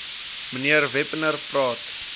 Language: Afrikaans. mnr wepener praat